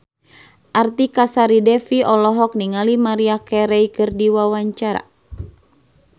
Artika Sari Devi olohok ningali Maria Carey keur diwawancara